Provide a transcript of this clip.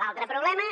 l’altre problema